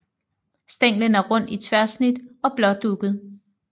Stænglen er rund i tværsnit og blådugget